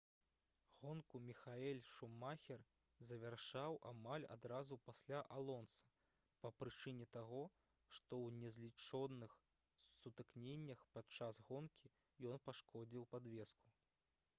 гонку міхаэль шумахер завяршыў амаль адразу пасля алонса па прычыне таго што ў незлічоных сутыкненнях падчас гонкі ён пашкодзіў падвеску